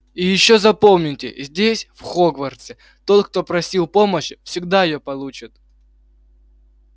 и ещё запомните здесь в хогвартсе тот кто просил помощи всегда её получал